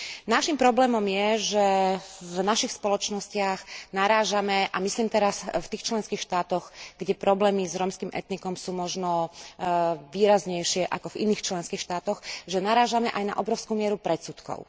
Naším problémom je, že v našich spoločnostiach narážame a myslím teraz v tých členských štátoch, kde problémy s rómskym etnikom sú možno výraznejšie ako v iných členských štátoch aj na obrovskú mieru predsudkov.